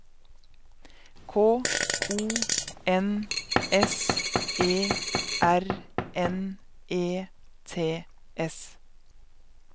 K O N S E R N E T S